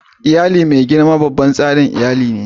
Iyali mai girma babban tsarin iyali ne.